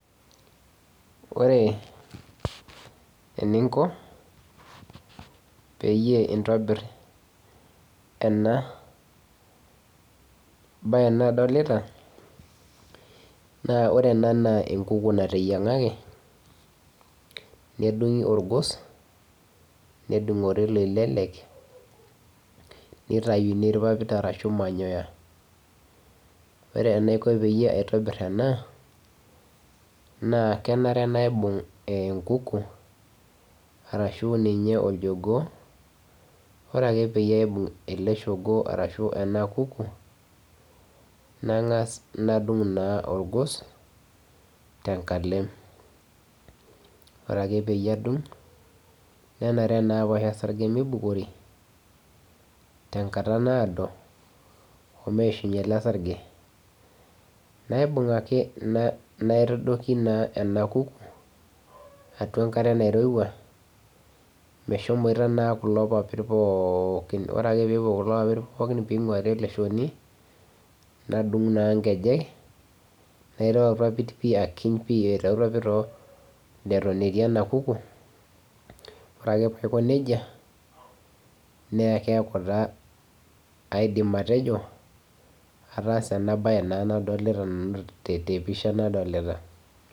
Ore eniiko peiye entobiir ena baye nadolita naa ore ena naa enkukuu naitenyang'aki nedunyii olgoos, neidung'ore leilelek, neitayuni lpaapit arashu manyoya. Ore enaikoo peiye aitobiir ena naa keneree naibung'u enkuku arashu ninyee oljogoo ore ake peiye aibung'u ele ilchogoo arashu ena kuku naing'as nadung'uu naa ogoos ta nkaaleem. Ore ake peiye adung'u neneree naa paa ayaa saarje meibokori te nkaata naadoo omeishunye ele sarjee. Naibung'u ajee naitodokii naa ena kuku atua enkare neirewua meshoomita naa kuloo lpaapit pookin. Ore ake pee epoo kuloo lpaapit pookin pee ing'uari ele lchooni nadung'u naa nkeejek nairoo lpaati aikiiny' pii aitaii lpaapit etoon etii ena kuku .Ore akee paa aikoo nejaa naa keaku taa aidiim atejoo ataasa ena baye naa nadolita te pishaa nadolita.